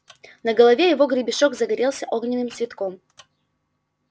на голове его гребешок загорелся огненным цветком